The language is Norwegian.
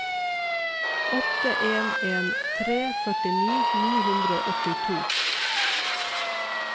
åtte en en tre førtini ni hundre og åttito